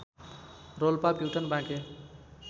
Rolpa Pyuthan Banke